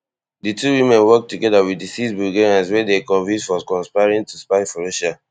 di two women work togeda wit di six bulgarians wey dem convict for conspiring to spy for russia